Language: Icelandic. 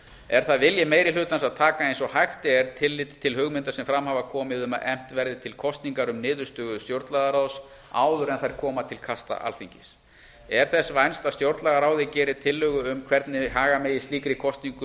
er það vilji meiri hlutans að taka eins og hægt er tillit til hugmynda sem fram hafa komið um að efnt verði til kosningar um niðurstöður stjórnlagaráðs áður en þær koma til kasta alþingis er þess vænst að stjórnlagaráðið geri tillögu um hvernig haga megi slíkri kosningu